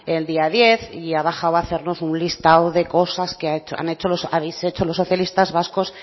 el día diez y ha bajado a hacernos un listado de cosas que habéis hecho los socialistas vascos